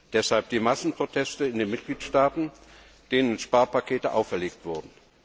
Deshalb die Massenproteste in den Mitgliedstaaten, denen Sparpakete auferlegt wurden.